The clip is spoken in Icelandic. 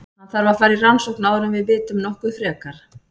Hann þarf að fara í rannsókn áður en við vitum nokkuð frekar.